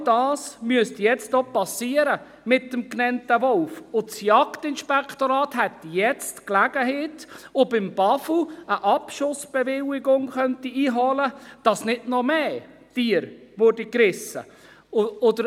Genau dies müsste jetzt mit dem genannten Wolf geschehen, und das Jagdinspektorat hätte jetzt die Gelegenheit, beim Bundesamt für Umwelt (BAFU) eine Abschussbewilligung einzuholen, damit nicht noch mehr Tiere gerissen werden.